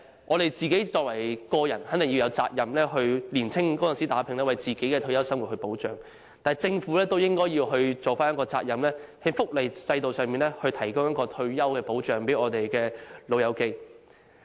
我們個人肯定有責任在年青時打拼，以保障自己的退休生活，但政府也應負上責任，在福利制度上為長者提供退休保障。